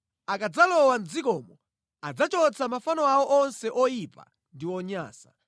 “Akadzalowa mʼdzikomo adzachotsa mafano awo onse oyipa ndi onyansa.